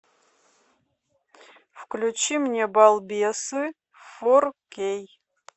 включи мне балбесы фор кей